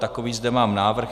Takový zde mám návrh.